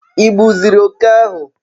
ighuziri oke ahu?